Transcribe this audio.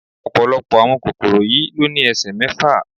Ọ̀pọ̀lọpọ̀ àwọn kòkòrò yìí ló ní ẹsẹ mẹ́fà.